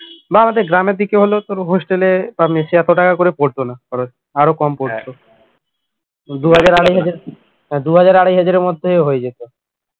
না আমাদের গ্রামের দিকে হলেও তোর hostel এ বা mess এ এত টাকা করে পড়তো না খরচ আরো কম পড়তো দু হাজার আড়াই হাজার আড়াই হাজারের মধ্যে হয়ে যেত